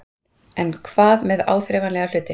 En hvað með áþreifanlega hluti?